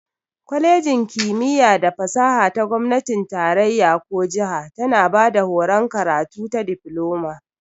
Kwalejin kimiyya da fasaha ta gomnatin tarayya ko jiha tana bada horon karatu ta Difloma.